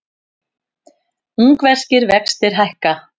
Ungverskir vextir hækka